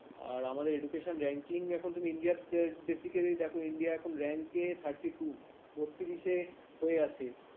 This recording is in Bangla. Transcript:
আর আমাদের education ranking এখন তুমি india দের বেসি কাল্ল্য দেখো india এখন rank এ thirty-two বত্রিশে হয়ে আছে ।